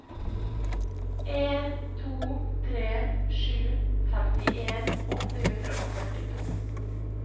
en to tre sju femtien åtte hundre og førtito